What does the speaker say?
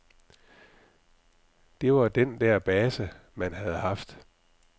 Det var den der base, man havde haft.